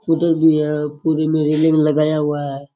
उधर भी है पूरे में रेलिंग लगाया हुआ है।